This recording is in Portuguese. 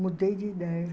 Mudei de ideia.